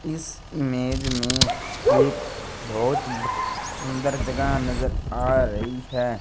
इस इमेज़ में एक बहोत सुन्दर जगह नजर आ रही है।